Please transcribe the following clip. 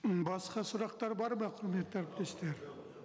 м басқа сұрақтар бар ма құрметті әріптестер